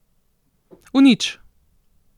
V nič.